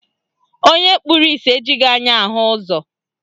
Onye kpụrụ isi ejighị anya ahụ ụzọ